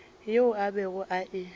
yeo a bego a e